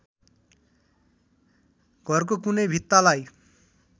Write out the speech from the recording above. घरको कुनै भित्तालाई